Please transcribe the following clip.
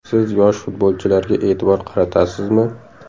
Siz yosh futbolchilarga e’tibor qaratasizmi?